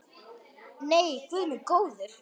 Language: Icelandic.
Nei, guð minn góður.